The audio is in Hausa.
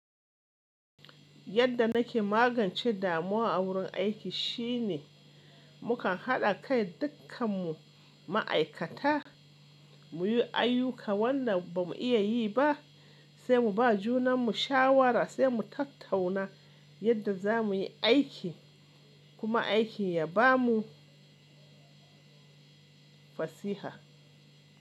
Yadda nake magance damuwa a wurin aiki shine mukan haɗa kai dukkan mu ma'aikata muyi ayuka wanda ba mu iya yi ba, sai mu ba junan mu shawara sai mu tattauna yadda za muyi aiki kuma aiki ya ba mu fasiha.